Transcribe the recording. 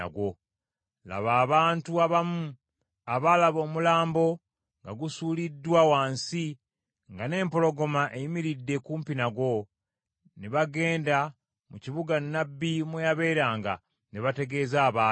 Laba, abantu abamu abaalaba omulambo nga gusuuliddwa wansi, nga n’empologoma eyimiridde kumpi nagwo, ne bagenda mu kibuga nnabbi mwe yabeeranga ne bategeeza abaayo.